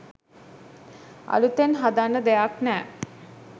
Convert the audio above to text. අළුතෙන් හදන්න දෙයක් නෑ